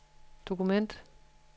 dokument